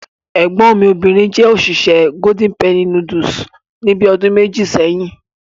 Ẹ̀gbọ́n mi jẹ́ òṣìṣẹ́ Golden Penny Noodles ní bíi ọdún méjì sẹ́yìn.